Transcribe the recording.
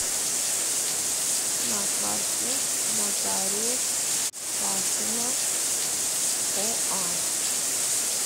на карте нотариус пашина оа